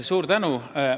Suur tänu!